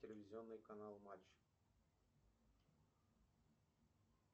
телевизионный канал матч